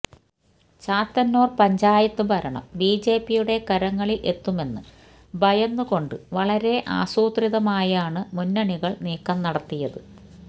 ചാത്തന്നൂര് പഞ്ചായത്ത് ഭരണം ബിജെപിയുടെ കരങ്ങളില് എത്തുമെന്നു ഭയന്നുകൊണ്ട് വളരെ ആസൂത്രിതമായാണ് മുന്നണികള് നീക്കം നടത്തിയത്